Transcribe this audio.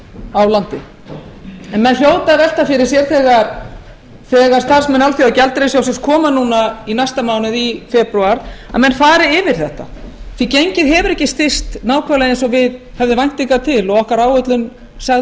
á landi en menn hljóta að velta fyrir sér þegar starfsmenn alþjóðagjaldeyrissjóðsins koma í næsta mánuði febrúar að menn fari yfir þetta því gengið hefur ekki styrkst nákvæmlega eins og við höfum væntingar til og okkar áherslur sögðu